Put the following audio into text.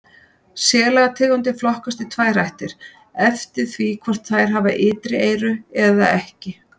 Selategundir flokkast í tvær ættir eftir því hvort þær hafa ytri eyru eða ekki.